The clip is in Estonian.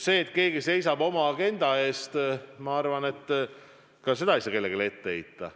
Seda, et keegi seisab oma agenda eest, ei saa minu arvates kellelegi ette heita.